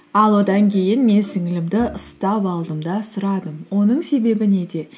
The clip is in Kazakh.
ал одан кейін мен сіңілілімді ұстап алдым да сұрадым оның себебі неде